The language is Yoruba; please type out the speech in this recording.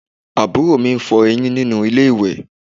Àbúrò mi ń fọ eyín nínú ilé ìwẹ̀